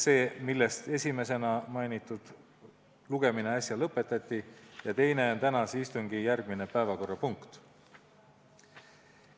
Neist esimesena mainitu lugemine äsja lõpetati ja teine on tänase istungi järgmine päevakorrapunkt.